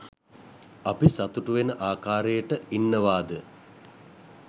අපි සතුටු වෙන ආකාරයට ඉන්නවාද